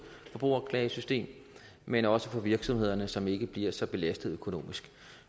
forbrugerklagesystem men også for virksomhederne som ikke bliver så belastet økonomisk